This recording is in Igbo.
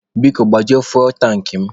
Biko, gbajuo fuwel tankị mụ.